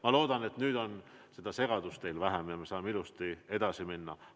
Ma loodan, et nüüd on seda segadust teil vähem ja me saame ilusti edasi minna.